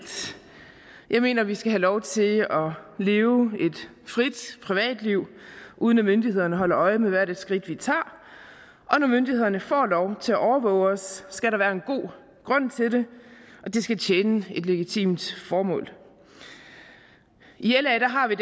jeg mener vi skal have lov til at leve et frit privatliv uden at myndighederne holder øje med hvert et skridt vi tager og når myndighederne får lov til at overvåge os skal der være en god grund til det og det skal tjene et legitimt formål i la har vi